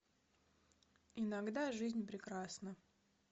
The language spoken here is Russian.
иногда жизнь прекрасна